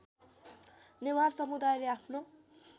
नेवार समुदायले आफ्नो